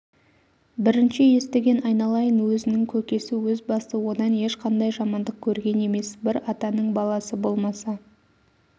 бірінші естіген айналайын өзінің көкесі өз басы одан ешқандай жамандық көрген емес бір атаның баласы болмаса